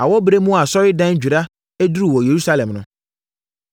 Awɔberɛ bi mu a Asɔredandwira duruu wɔ Yerusalem no,